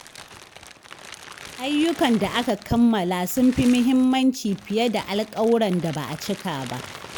Ayyukan da aka kammala sun fi muhimmanci fiye da alkawuran da ba a cika ba.